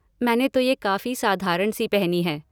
मैंने तो ये काफ़ी साधारण सी पहनी है।